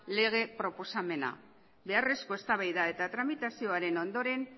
lege proposamen hau beharrezko eztabaida eta tramitazioaren ondoren